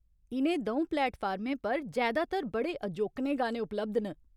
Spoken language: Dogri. इ'नें द'ऊं प्लेटफार्में पर जैदातर बड़े अजोकने गाने उपलब्ध न।